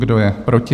Kdo je proti?